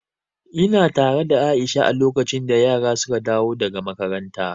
Ina tare da Aisha a lokacin da yara suka dawo daga makaranta.